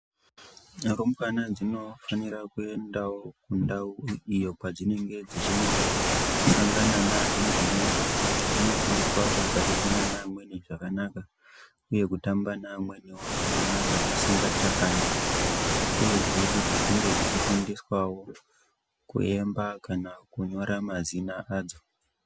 Rumbwana dzinofanirawo kuenda iyo kwadzinenge dzechinosangana nedzimweni dzechinofundiswe kugarisana neamweni zvakanaka nekutamba neamweniwo zvakanaka dzisingatakani uyezve kuti dzinenge dzichifundiswawo kuemba kana kunyora mazina adzo.